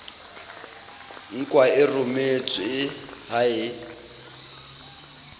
nkwa e rometswe ha e